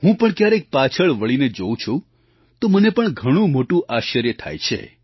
હું પણ ક્યારેક પાછળ વળીને જોઉં છું તો મને પણ ઘણું મોટું આશ્ચર્ય થાય છે